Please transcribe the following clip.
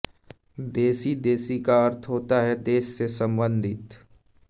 देसी देसी का अर्थ होता है देस से सम्बंधित